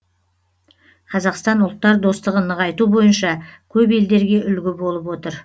қазақстан ұлттар достығын нығайту бойынша көп елдерге үлгі болып отыр